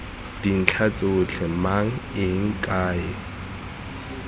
dintlha tsotlhe mang eng kae